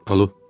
Alo.